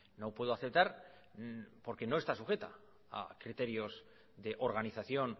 no puedo aceptar porque no está sujeta a criterios de organización